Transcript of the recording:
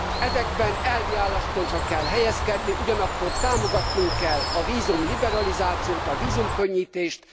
Ezekben elvi álláspontra kell helyezkedni, ugyanakkor támogatnunk kell a vízumliberalizációt, a vízumkönnyítést.